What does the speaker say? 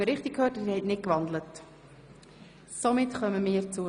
Sie haben den Vorstoss nicht gewandelt, ist das richtig?